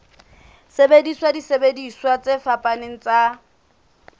sebedisa disebediswa tse fapaneng tsa